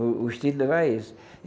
O o estilo dela é esse.